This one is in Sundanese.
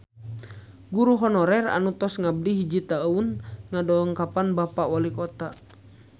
Guru honorer anu tos ngabdi hiji tahun ngadongkapan Bapak Walikota